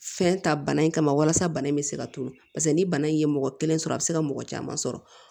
Fɛn ta bana in kama walasa bana in bɛ se ka tulu paseke ni bana in ye mɔgɔ kelen sɔrɔ a bɛ se ka mɔgɔ caman sɔrɔ